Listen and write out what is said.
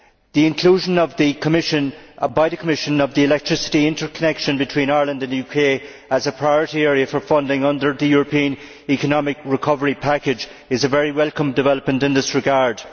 The inclusion by the Commission of the electricity interconnection between Ireland and the UK as a priority area for funding under the European economic recovery package is a very welcome development in this regard.